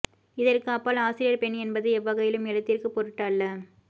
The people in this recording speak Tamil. இதற்கு அப்பால் ஆசிரியர் பெண் என்பது எவ்வகையிலும் எழுத்திற்கு பொருட்டு அல்ல